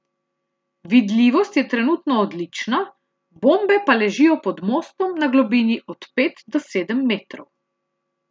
Vidljivost je trenutno odlična, bombe pa ležijo pod mostom na globini od pet do sedem metrov.